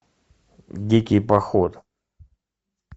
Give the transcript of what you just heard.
дикий поход